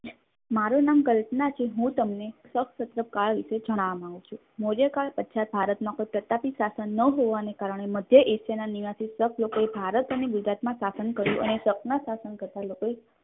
મારું નામ કલ્પના છે હું તમને સપ્ત કાલ વિશે જણાવવા માગું છું મૌર્યકાલ પછી ભારતમાં કોઈ પ્રતાપી શાસન ન હોવાના કારણે મધ્ય asia ના નિવાસી શબ્દ લોકોએ ભારત અને ગુજરાતમાં શાસન કર્યું અને સપના શાસન કરતા લોકોએ